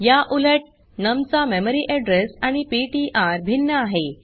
या उलट नम चा मेमरी एड्रेस आणि पीटीआर भिन्न आहे